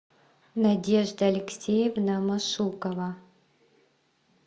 надежда алексеевна машукова